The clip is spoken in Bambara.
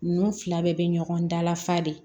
Ninnu fila bɛɛ bɛ ɲɔgɔn dala fa de